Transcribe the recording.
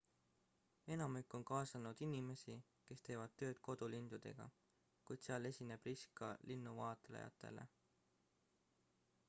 enamik on kaasanud inimesi kes teevad tööd kodulindudega kuid seal esineb risk ka linnuvaatlejatele